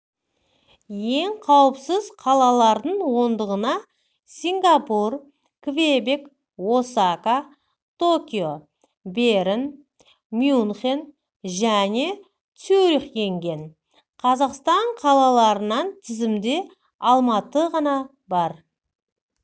ең қауіпсіз қалалардың ондығынасингапур квебек осака токио берн мюнхенжәнецюрих енген қазақстан қалаларынан тізімде алматыға ғана бар